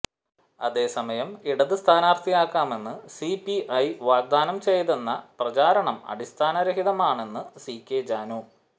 അതേസമയം ഇടത് സ്ഥാനാർത്ഥിയാക്കാമെന്ന് സിപിഐ വാഗ്ദാനം ചെയ്തെന്ന പ്രചാരണം അടിസ്ഥാനരഹിതമാണെന്ന് സി കെ ജാനു